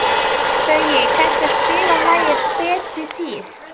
Baui, kanntu að spila lagið „Betri tíð“?